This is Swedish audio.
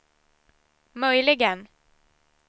möjligen